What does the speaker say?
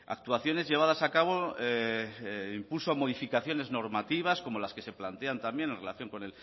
actuaciones llevadas a cabo impulso a modificaciones normativas como las que se plantean también en relación con